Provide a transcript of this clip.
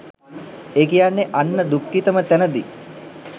ඒ කියන්නෙ අන්ත දුක්ඛිතම තැනදි